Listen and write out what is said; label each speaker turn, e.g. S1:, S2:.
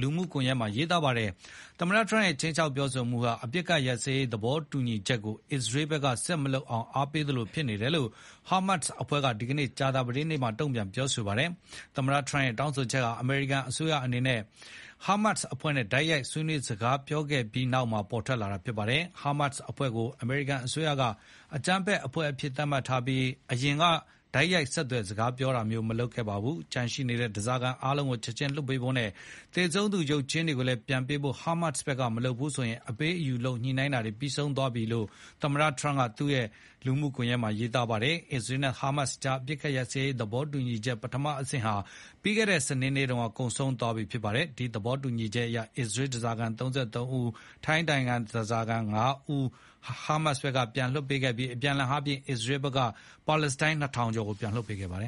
S1: လူမှုကွန်ရက်မှာ ရေးသားခဲ့ တာပါ။ သမ္မတထရမ့်ရဲ့ ခြိမ်းခြောက်ပြောဆိုမှုဟာ အပစ်အခတ်ရပ်စဲရေး သဘောတူညီချက်ကို အစ္စရေးဘက်က ဆက်မလုပ်အောင် အားပေးသလိုဖြစ်နေတယ်လို့ ဟာမတ်စ်အဖွဲ့က ဒီကနေ့ ကြာသပတေးနေ့မှာတုံ့ပြန်ပြောဆိုပါတယ်။ သမ္မတထရမ့်ရဲ့တောင်းဆိုချက်ဟာ အမေရိကန်အစိုးရအနေနဲ့ ဟာမတ်စ်အဖွဲ့နဲ့တိုက်ရိုက်ဆွေးနွေး စကားပြောခဲ့ပြီးနောက်မှာ ထွက်ပေါ်လာတာဖြစ်ပါတယ်။ ဟာမတ်စ်အဖွဲ့ကို အမေရိကန်အစိုးရက အကြမ်းဖက်အဖွဲ့အဖြစ်သတ်မှတ်ထားပြီး အရင်က တိုက်ရိုက်ဆက်သွယ်စကားပြောတာမျိုး မလုပ်ခဲ့ပါဘူး။ ကျန်ရှိနေတဲ့ဓားစာခံအားလုံးကိုချက်ခြင်းလွှတ်ပေးဖို့နဲ့ သေဆုံးသူတွေရဲရုပ်ကြွင်းတွေကို ပြန်ပေးဖို့ ဟာမတ်စ်ဘက်ကမလုပ်ဘူးဆိုရင် အပေးအယူလုပ်ညှိနှိုင်းမှုတွေ ပြီးဆုံးသွားမှာဖြစ်တယ်လို့ သမ္မတထရမ့်က သူ့ရဲ့ Truth လူမှုကွန်ယက်မှာ ရေးသားခဲ့ပါတယ်။ အစ္စရေးနဲ့ဟာမတ်စ်ကြား အပစ်အခတ်ရပ်စဲရေးသဘောတူညီချက် ပထမအဆင့်ဟာ ပြီးခဲ့တဲ့ စနေနေ့တုန်းက ကုန်ဆုံးသွားခဲ့ပြီဖြစ်ပါတယ်။ ဒီသဘောတူညီချက်အရ အစ္စရေးဓားစာခံ (၃၃) ဦးနဲ့ ထိုင်းနိုင်ငံသားဓားစာခံ (၅) ဦးကို ဟာမတ်စ်ဘက်ကပြန်လွှတ်ပေးခဲ့ပြီး အပြန်အလှန်အားဖြင့် အစ္စရေးဘက်ကဖမ်းဆီးထားတဲ့ ပါလက်စတိုင်း (၂,၀၀၀) လောက်ကိုပြန် လွှတ်ပေးခဲ့ပါတယ်